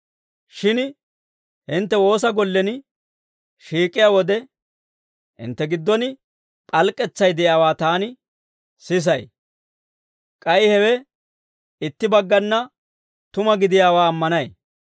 Shin hintte woosa gollen shiik'iyaa wode, hintte giddon p'alk'k'etsay de'iyaawaa taani sisay. K'ay hewe itti baggana tuma gidiyaawaa ammanay.